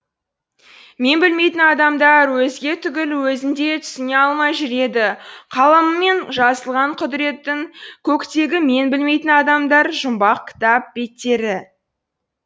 мен білмейтін адамдар өзге түгіл өзін де түсіне алмай жүреді қаламымен жазылған құдіреттің көктегі мен білмейтін адамдар жұмбақ кітап беттері